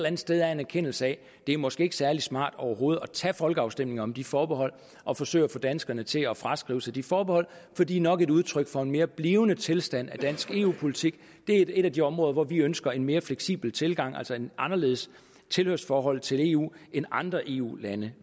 andet sted er en erkendelse af at det måske ikke er særlig smart overhovedet at tage en folkeafstemning om de forbehold og forsøge at få danskerne til at fraskrive sig de forbehold for de er nok et udtryk for en mere blivende tilstand i dansk eu politik det er et af de områder hvor vi ønsker en mere fleksibel tilgang altså et anderledes tilhørsforhold til eu end andre eu lande